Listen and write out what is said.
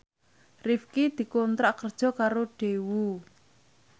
Rifqi dikontrak kerja karo Daewoo